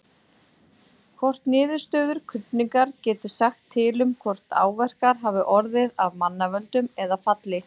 Hvort niðurstöður krufningar geti sagt til um hvort áverkar hafi orðið af mannavöldum eða falli?